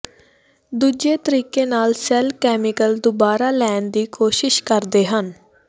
ਦੂਜੇ ਤਰੀਕੇ ਨਾਲ ਸੈੱਲ ਕੈਮੀਕਲ ਦੁਬਾਰਾ ਲੈਣ ਦੀ ਕੋਸ਼ਿਸ਼ ਕਰਦੇ ਹਨ